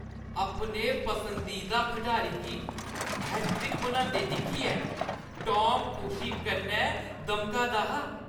अपने पसंदीदा खढारी गी हैट्रिक बनांदे दिक्खियै टॉम खुशी कन्नै दमका दा हा।